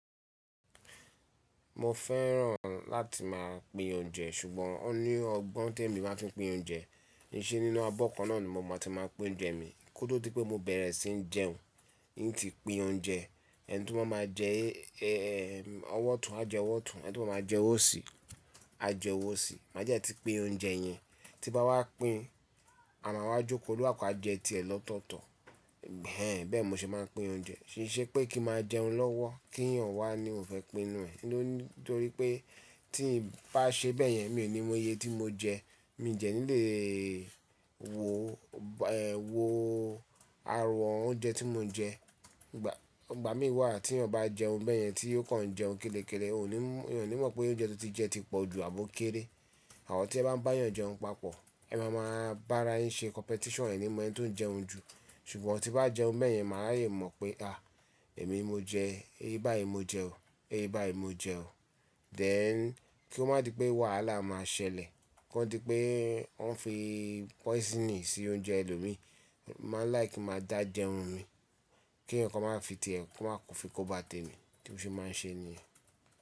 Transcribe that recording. Mo fẹ́ràn láti máa pín oúnjẹ ṣùgbọ́n ó ní ọgbọ́n tí èmi máa fi ń pín oúnjẹ kí ṣe nínú abọ́ kan náà ni mo máa ti máa pín oúnjẹ mi kó tó tí pé mo bẹ̀rẹ̀ sí ní jẹun. N ti pín oúnjẹ ẹni to ba máa jẹ ọwọ́ otun á jẹ ọwọ́ otun, ẹni to ba máa jẹ ọ́wo sì á jẹ ọ́wo osì. Má dẹ́ ti pín oúnjẹ yẹn tí n bá wá pín, a máa wá jókòó ónikaluku a jẹ ti ẹ̀ lọ́tọ̀ọ̀tọ̀. Bẹ́ẹ̀ n mo ṣe máa ń pín oúnjẹ. Kíi ṣe pé kí n máa jẹun lọ́wọ́ kí eeyàn wá ni òhun fẹ́ pin nuẹ̀ nítorí pé tí ń bá ṣe bẹ́yẹn mi ò ní mọ iye tí mo jẹ. Mi n tíe ni lè wo, wo àròwon oúnjẹ tí mo jẹ. Ìgbà mí wà tí èèyàn bá jẹun bẹ́yẹn tí ó kàn ń jẹun kélekéle, ò ní, èèyàn ní mọ̀ pé oúnjẹ tí ó ti jẹ ti pọ̀ ju àbò kéré. Àmọ tí ẹ bá ń bá èèyàn jẹun papọ̀, ẹ máa ma bá ara yín ṣe competition ẹ̀ ní mo eni tó ń jẹun jù. Ṣùgbọ́n tí n bá jẹun bẹ́yẹn, màá le mọ̀ pé, Èmi mo jẹ, iye báyìí mo jẹ ó, iye báyìí mo jẹ ó. Then kí ó má di pé wàhálà máa ṣẹlẹ̀. Kí ó di pé wọ́n fi poison sí oúnjẹ ẹlòmíràn, mo màá like kin máa dá jẹun mi kí eeyan kan má fi ti ẹ̀, kó má fi kó bá tèmi, tí mó ṣe máa ń ṣe nìyen.